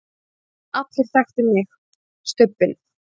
allir þekktu mig, Stubbinn.